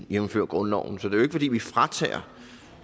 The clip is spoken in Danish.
jævnfør grundloven så det er jo ikke fordi vi fratager